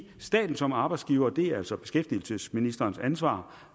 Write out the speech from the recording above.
staten som arbejdsgiver og det er altså beskæftigelsesministerens ansvar